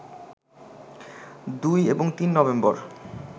২ এবং ৩ নভেম্বর